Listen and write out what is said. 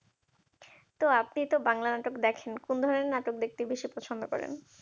তো আপনিতো বাংলা নাটক দেখেন কোন ধরনের নাটক দেখতে বেশি পছন্দ করেন?